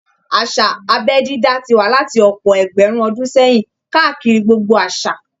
Àṣà abẹ́ dídá ti wà láti ọ̀pọ̀ ẹgbẹ̀rún ọdún sẹ́yìn káàkiri gbogbo àṣà